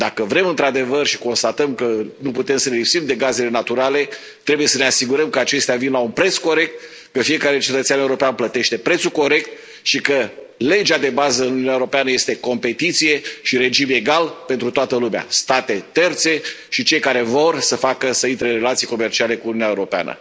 Dacă vrem într adevăr și constatăm că nu putem să ne lipsim de gazele naturale, trebuie să ne asigurăm că acestea vin la un preț corect, că fiecare cetățean european plătește prețul corect și că legea de bază în Uniunea Europeană este competiție și regim egal pentru toată lumea, state terțe și cei care vor să intre în relații comerciale cu Uniunea Europeană.